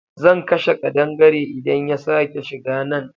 Zan kashe kadangare idan ya sake shiga nan.